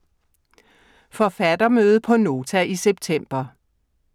Forfattermøde på Nota i september: